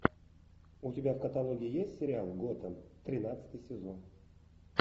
у тебя в каталоге есть сериал готэм тринадцатый сезон